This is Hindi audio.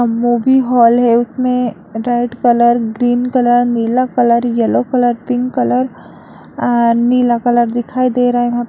मूवी हाल है उसमें रेड कलर ग्रीन कलर नीला colour yellow colour pink colour and नीला कलर दिखाई दे रहा है। वहाँ--